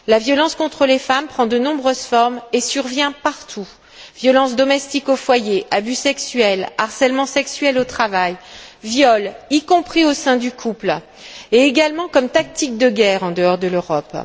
La violence contre les femmes prend de nombreuses formes et survient partout violences domestiques au foyer, abus sexuels, harcèlement sexuel au travail, viols, y compris au sein du couple, et également comme tactique de guerre en dehors de l'Europe.